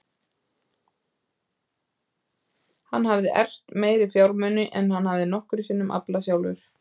Hann hafði erft meiri fjármuni en hann hafði nokkru sinni aflað sjálfur.